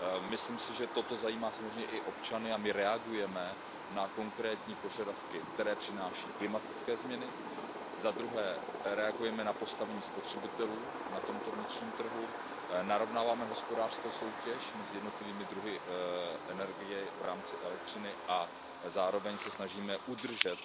Myslím si, že toto zajímá samozřejmě i občany, a my reagujeme na konkrétní požadavky, které přináší klimatické změny, za druhé reagujeme na postavení spotřebitelů na tomto vnitřním trhu, narovnáváme hospodářskou soutěž mezi jednotlivými druhy energie i v rámci elektřiny a zároveň se snažíme udržet